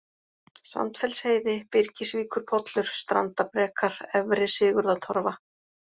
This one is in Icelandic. Sandfellsheiði, Byrgisvíkurpollur, Strandabrekar, Efri-Sigurðartorfa